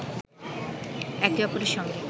একে অপরের সঙ্গে